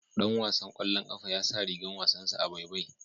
Ɗan wasan kwallon kafa ya sa rigan wasansa a baibai.